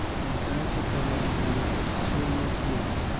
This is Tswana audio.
ntlha sekgala ditlamelo ditheo mafelo